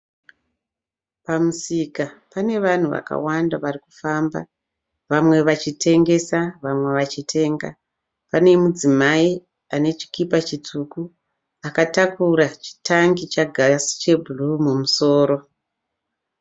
Pamusika pane vanhu vakawanda varikufamba, vamwe vachitengesa, vamwe vachitenga. Pane mudzimai ane chikipa chitsvuku akatakura chitangi chegas chebhuruu mumusoro.